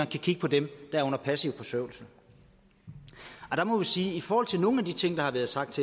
kan kigge på dem der er på passiv forsørgelse der må vi sige i forhold til nogle af de ting der har været sagt